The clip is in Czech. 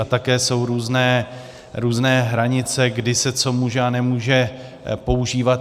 A také jsou různé hranice, kdy se co může a nemůže používat.